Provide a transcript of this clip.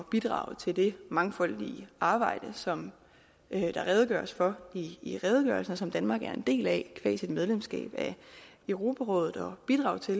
bidrage til det mangfoldige arbejde som der redegøres for i redegørelsen og som danmark er en del af sit medlemskab af europarådet og bidrage til